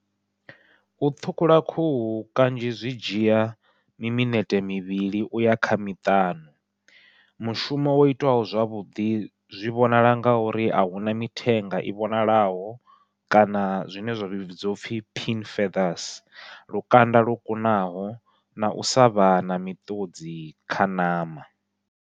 U ṱhukhula khuhu kanzhi zwi dzhia mi minete mivhili uya kha miṱanu, mushumo wo itwaho zwavhuḓi zwi vhonala ngauri ahuna mithenga i vhonalaho kana zwine zwa vhidziwa upfhi pink fathers lukanda lwo kunaho nau sa vha na miṱudzi kha ṋama.